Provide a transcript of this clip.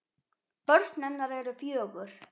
Börn hennar eru fjögur.